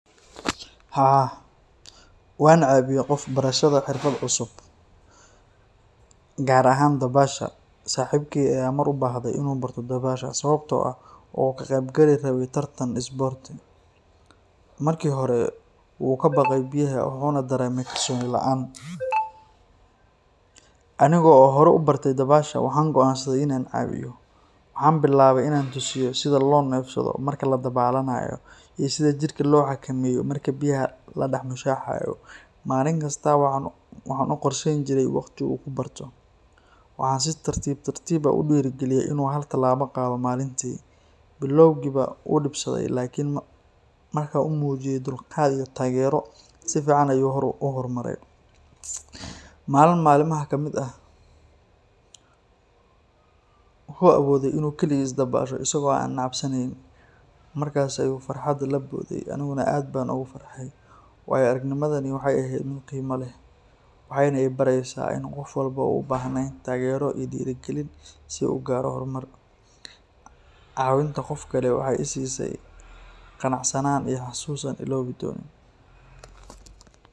Haa, waan caawiye qof barashada xirfad cusub, gaar ahaan dabaasha, saxibkeey ayaa mar ubaahde inuu barto dabaasha sababta oo ah wuxuu ka qeyb gali rabe tartan sports ,marki hore wuu kabaqe biyaha wuxuuna dareeme kalsooni laan, anigo hore ubartay dabaasha waxaan goaan saday inaan caawiyo, waxaan bilaabe inaan tusiyo sida loo neefsado marka ladabaalanayo, iyo sida jirka loo xakameeyo marka biyaha la dex mushaaxayo, malin kasta waxaan u qorsheyni jire waqti uu ku Barto, waxaan si tartiib tartiib ah ugu diiri galiye inuu hal tilaabo qaado malintii, biloowgiiba wuu dibsaday lakin markaan umuujiye dulqaad iyo taagero, si fican ayuu uhor mare, malin malmaha kamid ah, wuxuu awoode inuu kaligiisa dabaasho asago aan cabsaneynin, markaas ayuu farxad laboode aniguna aad baan ugu farxay, waayo aragnimadan waxeey eheed mid qiima leh, waxeeyna ibareysa in qof walbo uu ubahan yahay taagero iyo diiri galin si uu ugaaro hor mar, caawinta qofkani waxeey isiise qanacsanaan iyo xasuus aan ilaabi doonin.